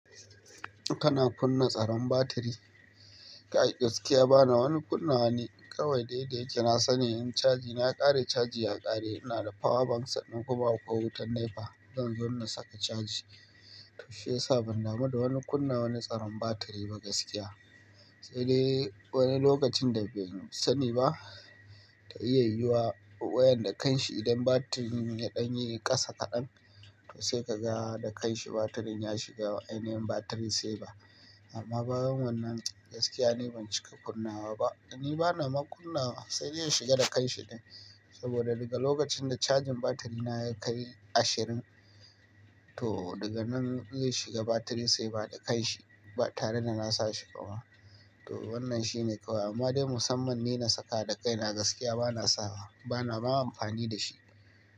Kana kunna tsaron batiri. Kai gaskiya bana wani kunawa ni kawai dai dayake na sani, in caji na ya kare, caji ya kare. Ina da power bank sannan kuma akwai wutan NEPA. Zan zo na saka caji, to shiyasa ban damu da wani kunna wani tsaron batiri ba gaskiya. Sai dai wani lokacin da ban sani ba ta iya yuwa wayan da kan shi idan batirin ya ɗan yi ƙasa kaɗan to sai ka ga da kan shi batirin ya shiga ainihin batiri saver. Amma bayan wannan gaskiya ni ban cika kunna wa ba. Ni bana ma kunnawa sai dai ya shiga da kan shi ɗin saboda daga lokacin da cajin batiri na ya kai ashirin to daga nan zai shiga batiri saver da kan shi tare da na sa shi bama. To wannan shi ne kawai amma dai musamman ni na saka da kai na gaskiya bana sawa bana, ma amfani da shi.